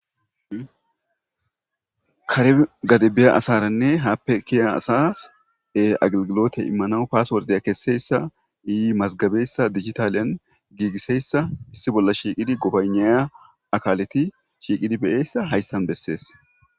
Kare gadibiya asaranne haappe kiya asas e-aglgilote immana paaswordeya kesseyssa yi mazgabeyssa digitaliyan giigiseyssa issi bolla shiiqidi gobayneya akaaleti shiiqidi beyessa hayssan bessees.